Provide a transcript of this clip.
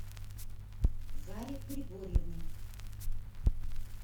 заре григорьевне